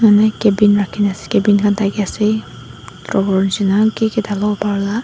ami cabin rakhina scabin khan thake ase aro verjina ki ki thakebo upar lah.